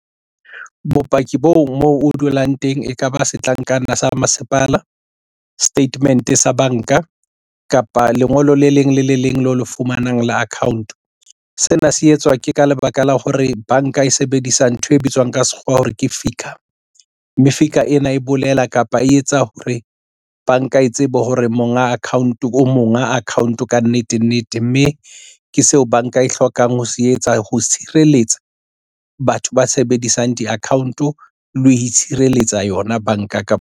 Bopaki bo moo o dulang teng ekaba setlankana sa masepala, statement sa banka kapa lengolo le leng le le leng lo le fumanang la account. Sena se etswa ke ka lebaka la hore banka e sebedisa ntho e bitswang ka sekgowa hore ke FICA, mme FICA ena e bolela kapa e etsa hore banka e tsebe hore monga account-o, o monga account-o kannete nnete mme ke seo banka e hlokang ho se etsa ho tshireletsa batho ba sebedisang di-account-o le ho itshireletsa yona banka kapa.